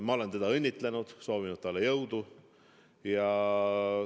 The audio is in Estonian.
Ma olen teda õnnitlenud, soovinud talle jõudu.